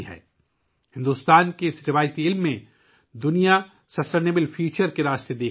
بھارت کے اس روایتی علم میں دنیا پائیدار مستقبل کا راستہ دیکھ رہی ہے